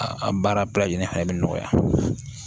A baara bɛɛ lajɛlen fana bɛ nɔgɔya